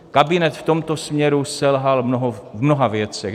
Kabinet v tomto směru selhal v mnoha věcech.